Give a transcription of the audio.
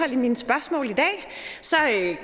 i mine spørgsmål i dag